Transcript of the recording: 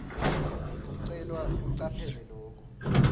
ucelwa ucaphele loku